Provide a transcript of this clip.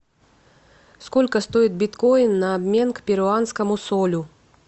сколько стоит биткоин на обмен к перуанскому солю